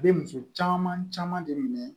Bɛ muso caman caman de minɛ